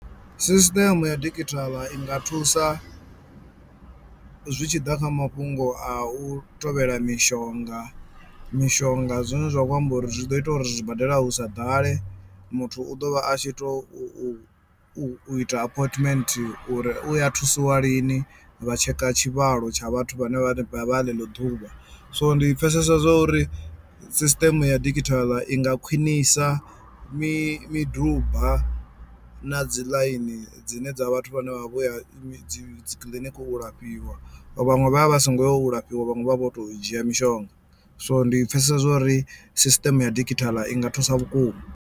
Sisiṱeme ya digital i nga thusa zwi tshi ḓa kha mafhungo a u tevhela mishonga mishonga zwine zwa khou amba uri zwi ḓo ita uri zwibadela hu sa ḓale muthu u ḓo vha a tshi tou u u ita appointment uri uya thusiwa lini vha tsheka tshivhalo tsha vhathu vhane vha ḽeḽo ḓuvha so ndi pfhesesa zwa uri system ya digital i nga khwinisa mi miduba na dzi ḽaini dzine dza vhathu vhane vha vha vho ya dzi kiḽiniki u lafhiwa vhaṅwe vha vha vha songo yo lafhiwa vhaṅwe vha vha vho to dzhia mishonga so ndi pfhesesa zwori system ya digital i nga thusa vhukuma.